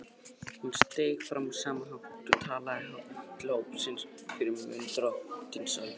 Hún steig fram á sama hátt og talaði hátt til hópsins fyrir munn Drottins allsherjar.